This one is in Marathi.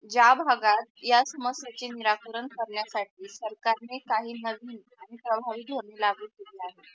ज्या भागात या समस्याचे निराकरण करणायसाठी सरकारने काही नवीन आणि समाविक धोरणे लागू केले आहे.